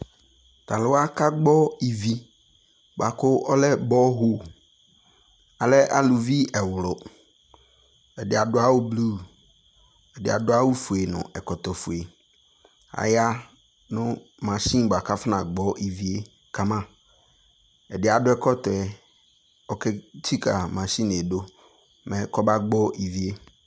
Ta luwa ka gbɔ ivi boa kɔlɛ bɔhoAlɛ aluvi ɛwluƐde ado awu blu, ɛde ado awufue no ɛkɔtɔfueAya no machine boa kafɔna gbɔ ivie kamaƐdeɛ ado ɛkɔtɔɛ, ɔke tsika machine mɛ kɔ ba gbɔ ivie